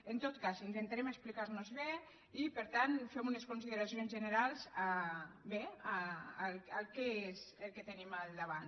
en tot cas intentarem explicarnos bé i per tant fem unes consideracions generals bé sobre què és el que tenim al davant